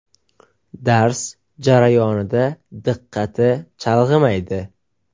Dars jarayonida diqqati chalg‘imaydi.